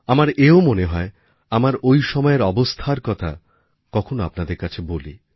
আমার এও মনে হয় আমার ঐ সময়ের অবস্থার কথা কখনও আপনাদের কাছে বলি